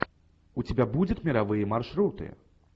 у тебя будет мировые маршруты